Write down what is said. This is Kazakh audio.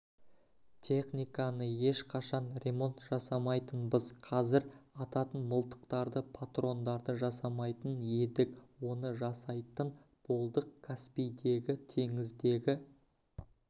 техниканы ешқашан ремонт жасамайтынбыз қазір ататын мылтықтарды патрондарды жасамайтын едік оны жасайтын болдық каспийдегі теңіздегі